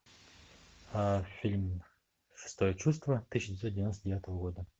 фильм шестое чувство тысяча девятьсот девяносто девятого года